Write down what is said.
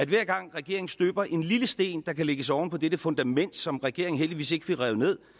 hver gang regeringen støber en lille sten der kan lægges oven på dette fundament som regeringen heldigvis ikke fik revet ned